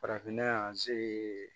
Farafinna yan se